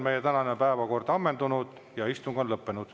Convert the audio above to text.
Meie tänane päevakord on ammendunud ja istung on lõppenud.